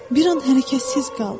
Bir an hərəkətsiz qaldı.